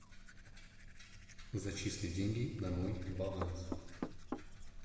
зачисли деньги на мой баланс